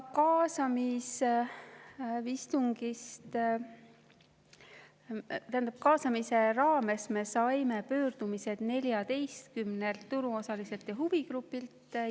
Kaasamise raames me saime pöördumised 14 turuosaliselt ja huvigrupilt.